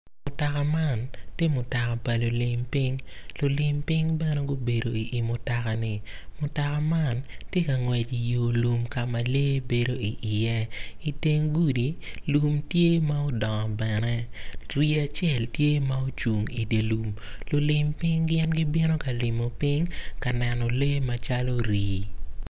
Mutok aman tye pa lulim piny, lulim piny bene gubedo i mutoka-ni mutoka man tye ka ngwec i yo lum ka ma lee bedo iye. I teng gudi lum tye ma odongo bene rii acel tye ma ocung i dye lum lulim piny gibino ka limo piny ka neno lee macalo rii.